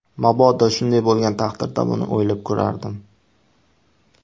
Mabodo shunday bo‘lgan taqdirda, buni o‘ylab ko‘rardim.